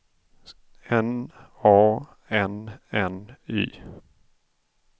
N A N N Y